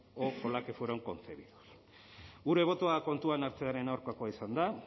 o con la que fueron concebidas gure botoa kontuan hartzearen aurkakoa izan da